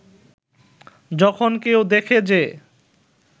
যখন কেউ দেখে যে